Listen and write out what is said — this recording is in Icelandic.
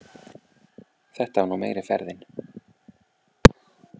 Þetta var nú meiri ferðin.